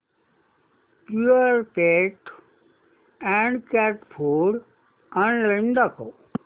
Purepet adult cat food online दाखव